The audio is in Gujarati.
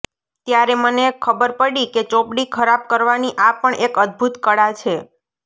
ત્યારે મને ખબરપડી કે ચોપડી ખરાબ કરવાની આ પણ એક અદ્ભૂત કળા છે